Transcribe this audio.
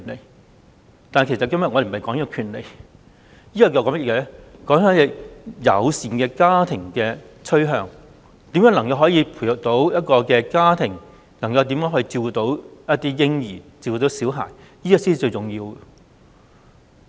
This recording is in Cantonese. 無論如何，我們今天並非討論權利問題，而是友善家庭的趨向，希望每一個家庭都能把嬰孩照顧得更好，這才是最重要的。